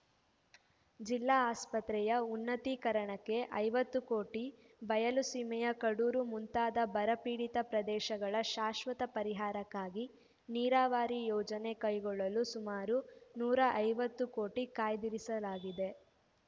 ಜಿಲ್ಲಾ ಆಸ್ಪತ್ರೆಯ ಉನ್ನತ್ತೀಕರಣಕ್ಕೆ ಐವತ್ತು ಕೋಟಿ ಬಯಲುಸೀಮೆಯ ಕಡೂರು ಮುಂತಾದ ಬರಪೀಡಿತ ಪ್ರದೇಶಗಳ ಶಾಶ್ವತ ಪರಿಹಾರಕ್ಕಾಗಿ ನೀರಾವರಿ ಯೋಜನೆ ಕೈಗೊಳ್ಳಲು ಸುಮಾರು ನೂರ ಐವತ್ತು ಕೋಟಿ ಕಾಯ್ದಿರಿಸಲಾಗಿದೆ